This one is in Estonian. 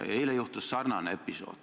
Eile juhtus sarnane episood.